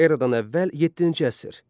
Eradan əvvəl yeddinci əsr.